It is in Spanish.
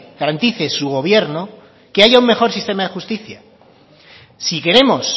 garantice su gobierno que haya un mejor sistema de justicia si queremos